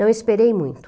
Não esperei muito.